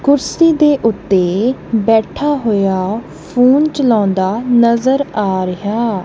ਕੁਰਸੀ ਦੇ ਉੱਤੇ ਬੈਠਾ ਹੋਇਆ ਫੋਨ ਚਲਾਉਂਦਾ ਨਜ਼ਰ ਆ ਰਿਹਾ।